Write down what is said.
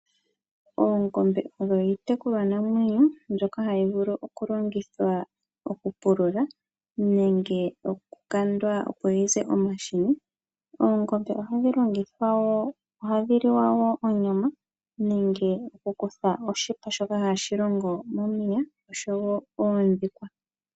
Oongombe odho iiyekulwa namwenyo ndhoka hadhi vulu oku longithwa okupulula nenge okukandwa opo dhiize omahini. Oongombe oha dhi longithwa wo, ohadhi liwa onyama nenge oku kuthwa oshipa shoka ha shi longwa omayapa osho wo oondhikwa.